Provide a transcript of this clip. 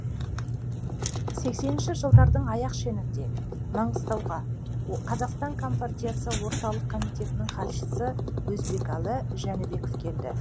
сексенінші жылдардың аяқ шенінде маңғыстауға қазақстан компартиясы орталық комитетінің хатшысы өзбекәлі жәнібеков келді